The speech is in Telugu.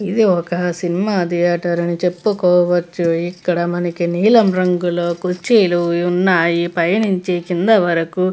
ఇది ఒక సినిమా థియేటర్ అని చెప్పుకోవచ్చు ఇక్కడ మనకి నీలం రంగులో కుర్చీలు ఉన్నాయిపైనుంచి కింది వరకు--